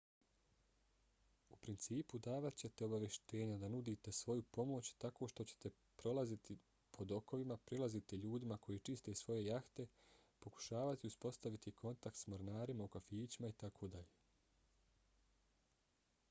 u principu davat ćete obavještenja da nudite svoju pomoć tako što ćete prolaziti po dokovima prilaziti ljudima koji čiste svoje jahte pokušavati uspostaviti kontakt s mornarima u kafićima itd